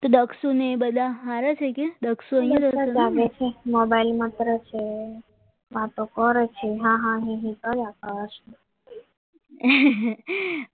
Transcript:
બધા સારા છે અહીંયા આગળ છે